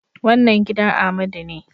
Wannan gidan Amadu ne